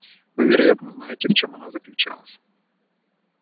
вы вероятно знаете в чём она заключалась